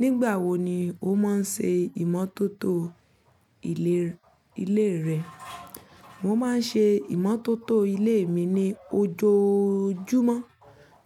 Nígbà wo ni o máa ń ṣe ìmọ́tótó ilé rẹ? Mo máa ń ṣe ìmọ́tótó ilé mi ní ojoojúmọ́